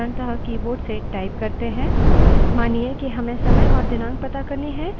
हम केवल keyboard से डेट type करते हैं और enter दबाते हैं